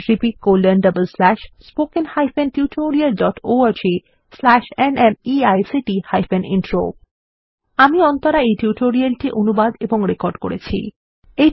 httpspoken tutorialorgNMEICT Intro আমি অন্তরা এই tutorial টি অনুবাদ এবং রেকর্ড করেছি